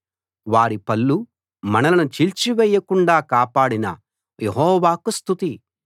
వారి పళ్ళు మనలను చీల్చివేయకుండా కాపాడిన యెహోవాకు స్తుతి